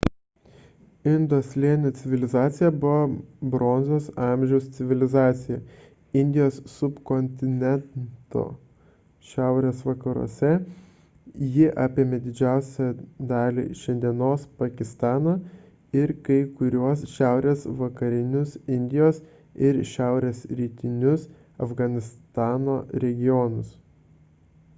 indo slėnio civilizacija buvo bronzos amžiaus civilizacija indijos subkontineno šiaurės vakaruose ji apėmė didžiausią dalį šiandienos pakistano ir kai kuriuos šiaurės vakarinius indijos ir šiaurės rytinius afganistano regionus